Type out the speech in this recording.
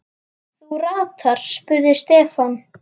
Þú ratar? spurði Stefán.